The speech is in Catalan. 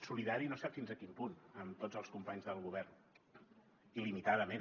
solidari no sap fins a quin punt amb tots els companys del govern il·limitadament